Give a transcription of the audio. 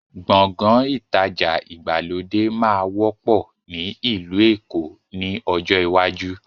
Gbọ̀ngán ìtajà ìgbàlódé máa wọ́pọ̀ ni ilu Èkó ni ọjọ́ iwájú